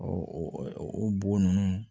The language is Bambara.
o bo ninnu